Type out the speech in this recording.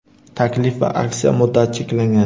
Taklif va aksiya muddati cheklangan.